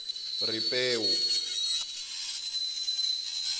ripewu